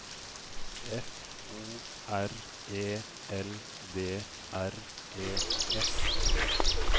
F O R E L D R E S